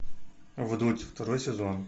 вдудь второй сезон